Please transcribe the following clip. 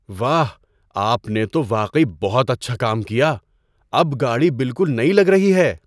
واہ! آپ نے تو واقعی بہت اچھا کام کیا۔ اب گاڑی بالکل نئی لگ رہی ہے!